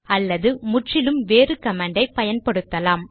அல்லது முற்றிலும் வேறு கமாண்ட் ஐ பயன்படுத்தலாம்